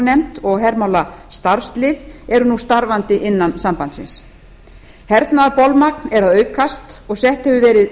sem og hermálanefnd og hermálastarfslið eru nú starfandi innan sambandsins hernaðarbolmagn er að aukast og sett hefur verið